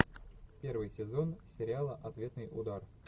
первый сезон сериала ответный удар